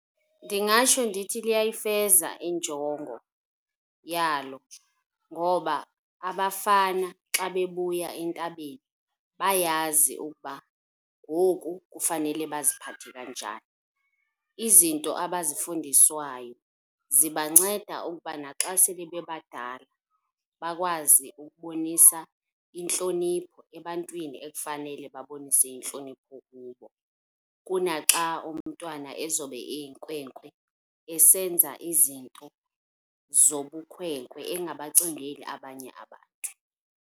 Ndingatsho ndithi luyayifeza injongo yalo ngoba abafana xa bebuya entabeni bayayazi ukuba ngoku kufanele baziphathe kanjani. Izinto abazifundiswayo zibanceda ukuba naxa sebebebadala bakwazi ukubonisa intlonipho ebantwini ekufanele babonise intlonipho kubo, kunaxa umntwana ezobe eyinkwenkwe esenza izinto zobukhwenkwe engabacingeli abanye abantu.